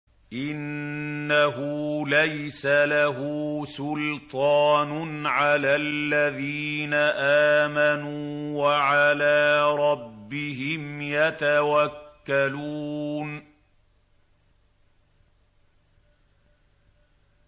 إِنَّهُ لَيْسَ لَهُ سُلْطَانٌ عَلَى الَّذِينَ آمَنُوا وَعَلَىٰ رَبِّهِمْ يَتَوَكَّلُونَ